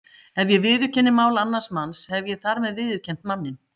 Ef ég viðurkenni mál annars manns hef ég þar með viðurkennt manninn.